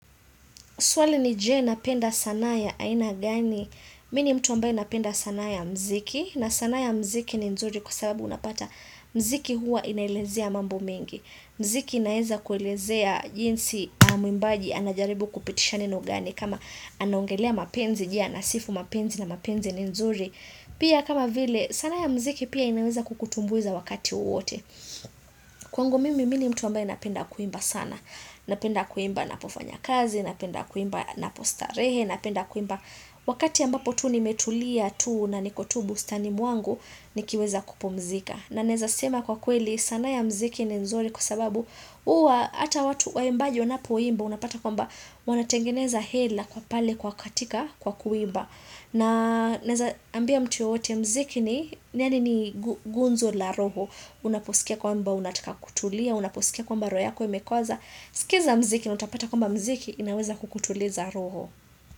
Swali ni je napenda sanaa ya aina gani, mi ni mtu ambaye napenda sanaa ya mziki, na sanaa ya mziki ni nzuri kwa sababu unapata mziki huwa inaelezea mambo mengi. Mziki inaeza kuelezea jinsi mwimbaji anajaribu kupitisha neno gani kama anaongelea mapenzi, je anasifu mapenzi na mapenzi ni nzuri. Pia kama vile, sanaa ya mziki pia inaeza kukutumbuiza wakati wowote. Kwangu mimi mi ni mtu ambaye napenda kuimba sana Napenda kuimba napofanya kazi Napenda kuimba napostarehe Napenda kuimba Wakati ambapo tu nimetulia tu na niko tu bustani mwangu nikiweza kupumzika na naeza sema kwa kweli sanaa ya mziki ni nzuri kwa sababu huwa hata watu waimbaji wanapoimba Unapata kwamba Wanatengeneza hela kwa pale kwa katika Kwa kuimba na naeza ambia mtu yoyote mziki ni yaani ni gunzo la roho Unaposikia kwamba unatika kutulia Unaposikia kwamba roho yako imekoza sikiza mziki na utapata kwamba mziki inaweza kukutuliza roho.